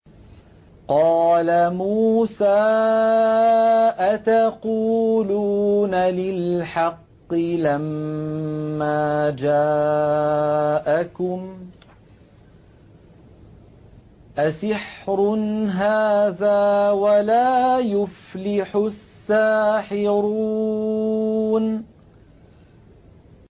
قَالَ مُوسَىٰ أَتَقُولُونَ لِلْحَقِّ لَمَّا جَاءَكُمْ ۖ أَسِحْرٌ هَٰذَا وَلَا يُفْلِحُ السَّاحِرُونَ